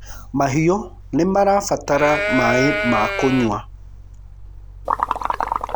mahiũ nĩirabatara maĩ ma kunyua